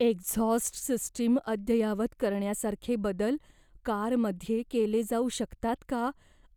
exhaust system अद्ययावत करण्यासारखे बदल कारमध्ये केले जाऊ शकतात का